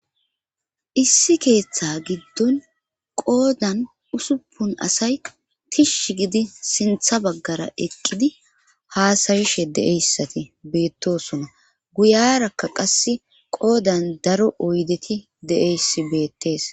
Issi keeththa giddon qoodan usuppun asay tishsh gidi sintha baggara eqqidi haasayishe de7eyssati beettosona guyarakka qasse qoodan daro oydeti de7eyssi beettees